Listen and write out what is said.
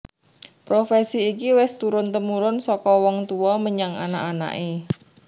Profesi iki wis turun tumurun saka wong tuwa menyang anak anaké